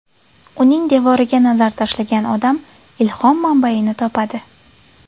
Uning devoriga nazar tashlagan odam ilhom manbayini topadi”.